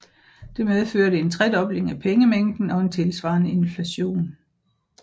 Det medførte en tredobling af pengemængden og en tilsvarende inflation